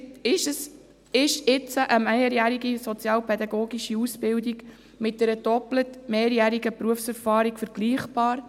Ist jetzt eine mehrjährige sozialpädagogische Ausbildung mit einer doppelt mehrjährigen Berufserfahrung vergleichbar?